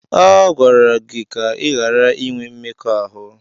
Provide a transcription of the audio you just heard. A gwara gị ka ị ghara inwe mmekọahụ!